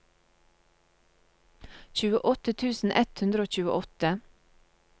tjueåtte tusen ett hundre og tjueåtte